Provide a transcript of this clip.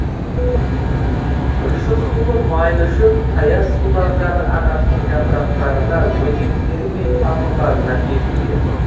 тұщы сулы майлы шөп таяз сулардағы ағаштың жапырақтарына өзектері мен тамырларына бекиді